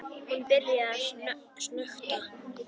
Hún byrjar að snökta.